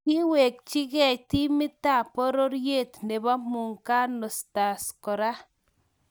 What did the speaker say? Kiwekchikei timitab pororiet nebo muungano stars kora